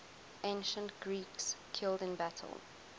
ancient greeks killed in battle